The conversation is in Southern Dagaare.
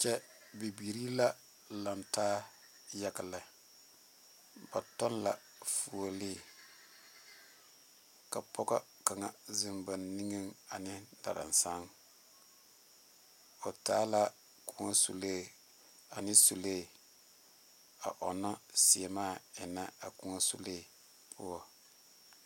Kyɛ bibiiri la lantaa yaga lɛ ba tɔge la fuoli ka pɔge kaŋa zeŋ ba niŋe ane darasaŋ o taa la kõɔ sule ane sule a ona seɛmaa eŋe a kõɔ sule poɔ.